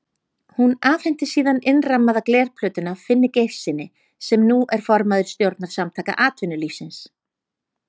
Hún afhenti síðan innrammaða glerplötuna Finni Geirssyni, sem nú er formaður stjórnar Samtaka atvinnulífsins.